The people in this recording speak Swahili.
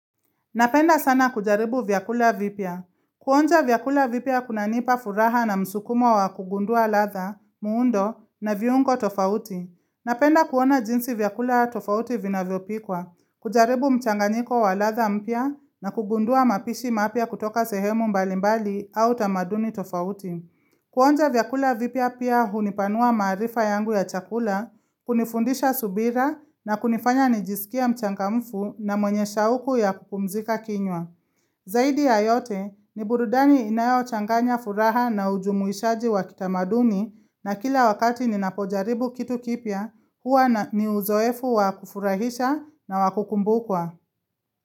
Napenda sana kujaribu vyakula vipya. Kuonja vyakula vipya kunanipa furaha na msukumo wa kugundua ladha, muundo na viungo tofauti. Napenda kuona jinsi vyakula tofauti vinavyopikwa, kujaribu mchanganiko wa ladha mpya na kugundua mapishi mapya kutoka sehemu mbalimbali au tamaduni tofauti. Kuonja vyakula vipya pia hunipanua maarifa yangu ya chakula, kunifundisha subira na kunifanya nijisikie mchangamfu na mwenye shauku ya kupumzika kinywa. Zaidi ya yote ni burudani inayochanganya furaha na ujumuishaji wa kitamaduni na kila wakati ninapojaribu kitu kipya huwa ni uzoefu wa kufurahisha na wa kukumbukwa.